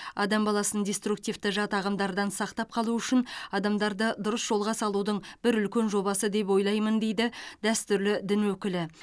адам баласын диструктивті жат ағымдардан сақтап қалу үшін адамдарды дұрыс жолға салудың бір үлкен жобасы деп ойлаймын дейді дәстүрлі дін өкілі